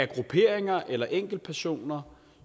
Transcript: grupperinger eller enkeltpersoner